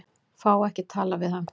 Fá ekki að tala við hann